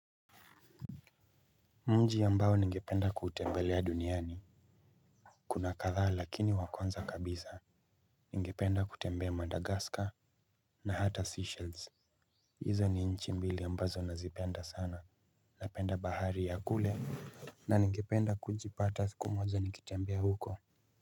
Nchi ambayo ningependa kutembelea duniani kuna kadhaa lakini wa kwanza kabisa. Ningependa kutembea madagascar na hata seychells. Hizo ni nchi mbili ambazo nazipenda sana napenda bahari ya kule. Na ningependa kujipata siku moja nikitembea huko.